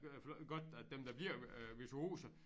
Godt at dem der bliver øh virtuose